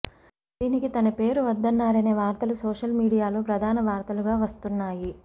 దీనికి తన పేరు వద్దన్నారనే వార్తలు సోషల్ మీడియాలో ప్రధాన వార్తలుగా వస్తున్నాయి